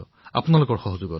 আপোনালোকৰ সহায়ৰ দ্বাৰা